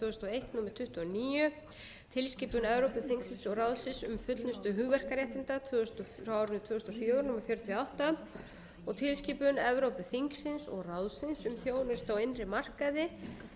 númer tuttugu og níu tilskipun evrópuþingsins og ráðsins um fullnustu hugverkaréttinda frá árinu tvö þúsund og fjögur númer fjörutíu og átta og tilskipun evrópuþingsins og ráðsins um þjónustu á innri markaði frá árinu tvö þúsund og sex númer hundrað